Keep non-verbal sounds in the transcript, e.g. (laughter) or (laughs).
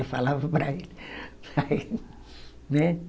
Ela falava para ele. (laughs) Né